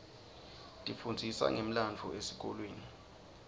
tifundzisa ngemlandvo esikolweni